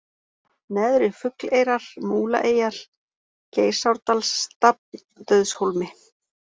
Neðri-Fugleyrar, Múlaeyjar, Geysárdalsstafn, Dauðshólmi